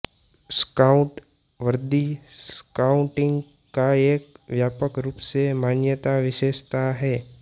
scout वर्दी scouting का एक व्यापक रूप से मान्यता विशेषता है